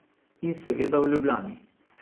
In seveda v Ljubljani.